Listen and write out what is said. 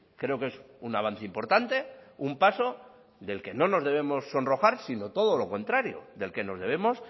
creo que es un avance importante un paso del que no nos debemos sonrojar sino todo lo contrario del que nos debemos